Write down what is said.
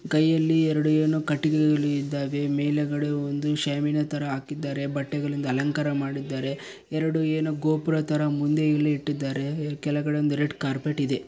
ಕೈಯಲ್ಲಿ ಎರೆಡು ಏನು ಕಟ್ಟಿಗೆಗಳಿದ್ದವೇ ಮೇಲಾಗದೆ ಒಂದು ಶಾಮಿನ ತರ ಹಾಕಿದ್ದಾರೆ ಬಟ್ಟೆಗಳಿಂದ ಅಲಂಕಾರ ಮಾಡಿದ್ದಾರೆ ಎರೆಡು ಏನೋ ಗೋಪುರ ತರ ಮುಂದೆ ಇಲ್ಲಿ ಇಟ್ಟಿದ್ದಾರೆ ಕೆಳಗಡೆ ಒಂದು ರೆಡ್ ಕಾರ್ಪೆಟ್ ಇದೆ.